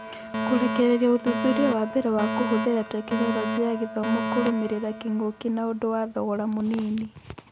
Kũrekereria ũthuthuria wambere wa kũhũthĩra Tekinoronjĩ ya Gĩthomo kũrũmĩrĩra kĩng'ũki na ũndũ wa thogora mũnini.